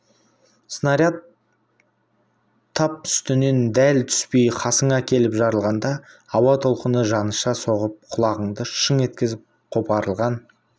снаряд тап үстінен дәл түспей қасыңа келіп жарылғанда ауа толқыны жаныша соғып құлағыңды шың еткізіп қопарылған